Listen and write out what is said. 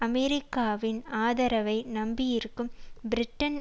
அமெரிக்காவின் ஆதரவை நம்பியிருக்கும் பிரிட்டன்